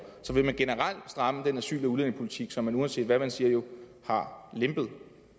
så vil man generelt stramme den asyl og udlændingepolitik som man jo uanset hvad man siger har lempet